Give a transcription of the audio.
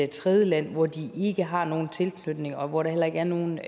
tredjeland hvor de ikke har nogen tilknytning og hvor der heller ikke er nogen